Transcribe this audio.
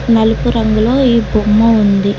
నలుపు రంగులో ఈ బొమ్మ ఉంది.